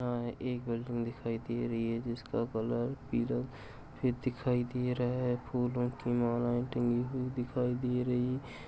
यहाँ एक दिखाई दे रही है जिस का कलर पीला दिखाई दे रहा है फूलों की मालाये टंगी हुई दिखाई दे रही ।